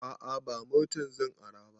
A'a ba motar zan ara ba